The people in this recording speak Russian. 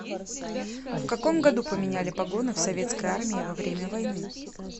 в каком году поменяли погоны в советской армии во время войны